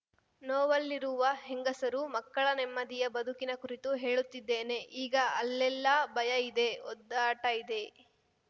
ನೋವಲ್ಲಿರುವ ಹೆಂಗಸರು ಮಕ್ಕಳ ನೆಮ್ಮದಿಯ ಬದುಕಿನ ಕುರಿತು ಹೇಳುತ್ತಿದ್ದೇನೆ ಈಗ ಅಲ್ಲೆಲ್ಲಾ ಭಯ ಇದೆ ಒದ್ದಾಟ ಇದೆ